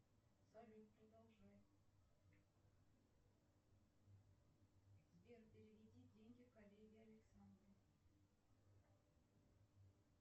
салют продолжай сбер переведи деньги коллеге александру